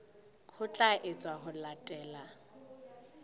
ho tla etswa ho latela